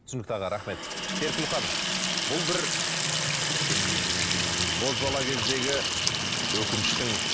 түсінікті аға рахмет серікгүл ханым бұл бір ммм бозбала кездегі өкініштің